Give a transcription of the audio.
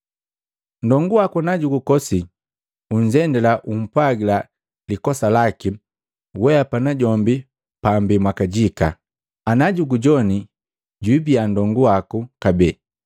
“Ndongu waku na jukukosi, unzendila ukumpwagila likosa laki weapa na jombi pambii mwakajika. Najugujowani, jibiya ndongu waku kabee.